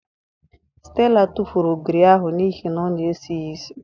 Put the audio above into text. Stella tụfụrụ ogiri ahụ n'ihi na ọ na-esi ya isi.